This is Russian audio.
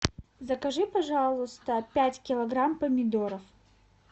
закажи пожалуйста пять килограмм помидоров